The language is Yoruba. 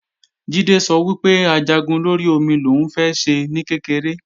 Jídé sọ wípé Ajagun lórí omi lòún fẹ́ ṣe ní kékeré